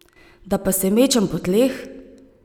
Da pa se mečem po tleh?